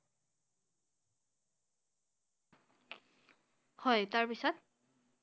হয় তাৰ পিছত?